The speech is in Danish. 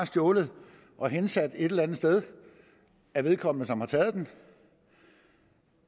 stjålet og hensat et eller andet sted af vedkommende som har taget den